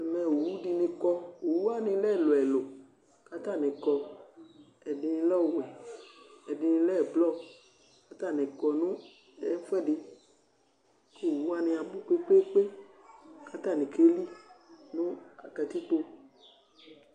Owʊɖinɩ ƙɔ, owʊwaŋɩ lɛ ɛlʊ ɛlu Ƙatani ƙɔ, ƙʊ ɛɖinɩ lɛ ɔvɛ, ɛɖinɩ lɛ ɛblɔ ƙatznɩ kɔ ŋɛfʊɛɖɩ Owuwanɩ aɓʊ ƙpékpé, ƙatani ƙélɩ ŋʊ ƙatikpo